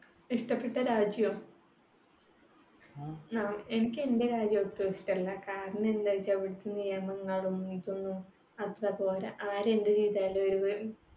ഇഷ്ടപെട്ട രാജ്യോ? ങ്ഹാ എനിക്ക് എന്റെ രാജ്യം ഒട്ടും ഇഷ്ടമല്ല. കാരണം എന്താന്നു വെച്ചാൽ ഇവിടത്തെ നിയമങ്ങളും ഇതൊന്നും അത്ര പോര. ആരെന്തു ചെയ്താലും